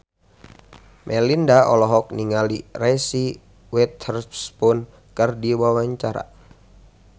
Melinda olohok ningali Reese Witherspoon keur diwawancara